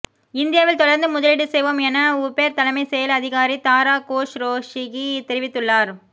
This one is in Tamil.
இந்தியாவில் தொடர்ந்து முதலீடு செய்வோம் என உபெர் தலைமைச் செயல் அதிகாரி தாரா கோஸ்ரோஷிகி தெரிவித்துள்ளார்